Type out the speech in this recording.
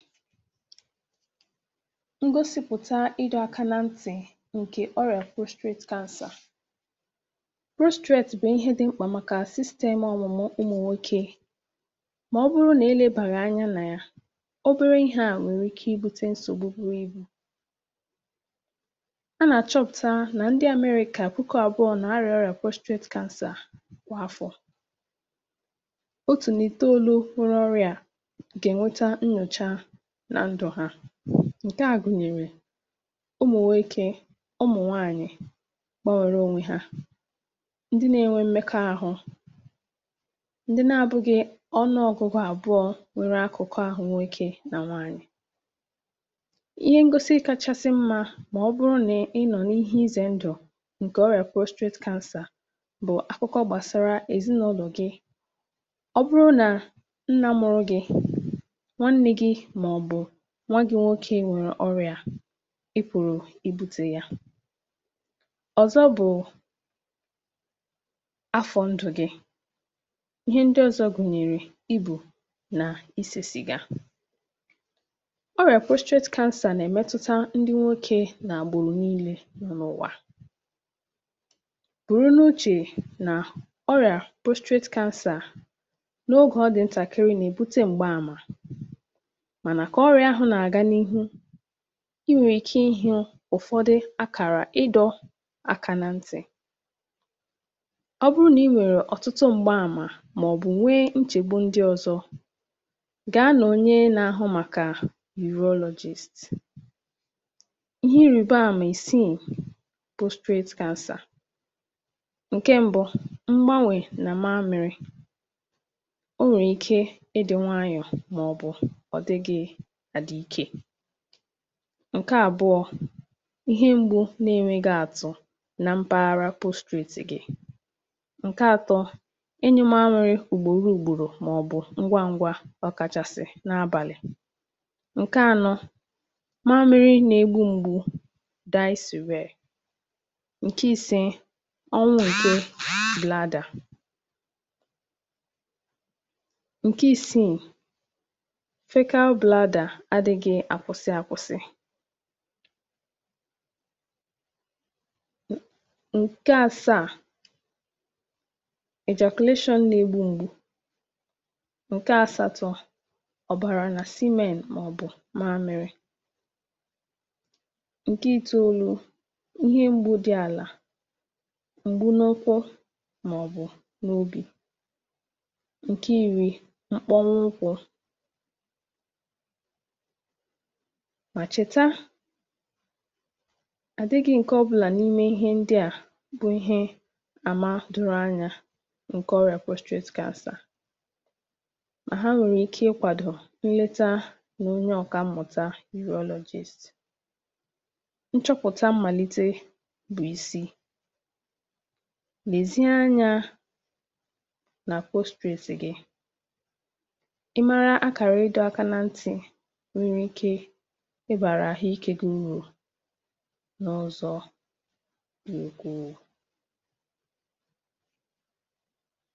Ngosịpụ̀ta ịdọ̇ aka na ntì ǹkè ọrịa prostate cancer bụ̀ ihe dị̀ mkpà màkà sistemụ̇ ọmụmụ ụmụ̀nwoke. Ma ọ bụrụ nà ị lèbàghị̀ anya nà ya, obere ihe a nwèrè ike ibute nsògbu buru ibu̇. um A nà-achọpụ̀takarị nà ndị Amerịka kwà akwụkọ àbụọ̀ n’àrịà ọrịa prostate cancer kwa afọ̀. um Otu n’ime olu okporo ọrịa ndị à gụ̀nyèrè ụmụ̀nwe ike, ọ mụ̀nwaanyị̀ gbanwèrè onwe ha, ndị na-enwe mmekọ̇ahụ̀, ndị na-abụ̇ghị̇ ọnụọ̇gụ̇gụ̇ àbụọ̀ nwere akụkọ ahụ̀, nwe ike nà nwaanyị̀... Ihe ngosi kachasị mmȧ bụ̀ nà ọ bụrụ nà ị nọ̀ n’ihe izè ndụ̀ ǹkè prostate cancer bụ̀ akụkọ gbàsara ezinàụlọ̀ gị̇. Ọ bụrụ nà nna mụrụ gị̇, màọ̀bụ̀ nwa gị̇ nwoke, nwèrè ọrịa a, ị pụ̀rụ̀ ibute yà. Ọ̀zọ̀ bụ̀ afọ̀ ndụ̀ gị̇ ihe ndị ọzọ gụ̀nyèrè i bù nà isèsì gà ọrịa prostate cancer nà-èmetụta ndị nwoke nà gbòrò niilè nọ n’ụ̀wà um Bụ̀rụ n’uche nà ọrịa prostate cancer n’ogè ọ dị̇ ntàkịrị nà-ebute m̀gba àmà, ị nwèrè ike ịhị̇ọ̇ ụ̀fọdụ akara ịdọ̇ aka na ntì... Ọ bụrụ nà ị nwèrè ọtụtụ m̀gba àmà màọ̀bụ̀ nwee nchegbu, ndị ọ̀zọ̀ gà-àrịọ onye nà-ahụ maka urologist. um Ihe irìbè àmà isii prostate cancer: ǹke mbụ̇ mgbanwè nà mamịrị, o nwèrè ike ịdị̇ nwaanyọ̀ màọ̀bụ̀ ọ̀dịgị̇. ǹke àbụọ̇ um ihe mgbu̇ nà-enwėghi àtụ̇ nà mpaghara prostate gị̇. ǹke àtọ̇ enyė mamịrị ùgbòro ùgbòrò màọ̀bụ̀ ngwa ngwa, ọ̀kàchàsị̀ n’abàlị̀. ǹke anọ̇ mamịrị nà-egbu̇ mgbu, daịsịwèrè ǹke isi ọnwa ǹke bladder. ǹke asatọ̇ ọbara nà semen, màọ̀bụ̀ mgbe ị mèrè. ǹke itoolu̇ um ihe mgbu dị ala, mbụ̇ n’ụkwụ màọ̀bụ̀ n’obi. Nke iri̇ mkpọnwụkwụ... Ma chèta àdị gị̇ ǹke ọbụlà n’ime ihe ndị à bụ̀ ihe àmà dụrụ anyȧ ǹkè prostate cancer. um Ka asà, ma ha nwèrè ike ịkwàdò nleta nà onye ọ̀kà mmụ̀ta urologist. Nchọpụ̀ta mmàlite bụ̀ isi̇ lèzie anyȧ nà prostate gị̇, ịbàrà àhụ ike gùrù n’ọzọ̀, kwùrù.